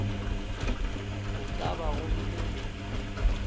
go ka ba go bile